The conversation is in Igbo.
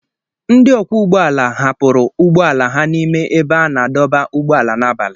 Ndị ọkwọ ụgbọ ala hapụrụ ụgbọ ala ha n'ime ebe a na-adọba ụgbọala n'abalị